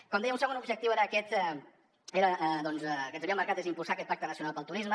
com deia un segon objectiu que ens havíem marcat era impulsar aquest pacte nacional pel turisme